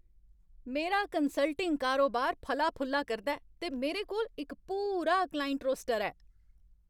मेरा कंसल्टिंग कारोबार फला फुल्ला करदा ऐ, ते मेरे कोल इक पूरा क्लाइंट रोस्टर ऐ।